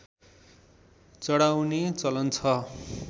चढाउने चलन छ